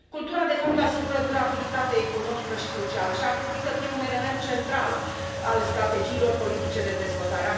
Cultura, de fapt, asigură durabilitate economică și socială și ar trebui să fie un element central al strategiilor politice de dezvoltare.